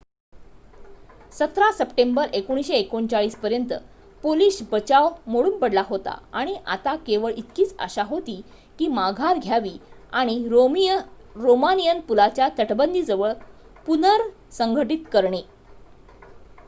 17 September 1939 पर्यंत Polish बचाव मोडून पडला होता आणि आता केवळ इतकीच आशा होती की माघार घ्यावी आणि रोमानियन पुलाच्या तटबंदीजवळ पुनरसंघटीत करणे